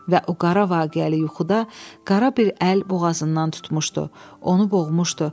Və o qara vaqiəli yuxuda qara bir əl boğazından tutmuşdu, onu boğmuşdu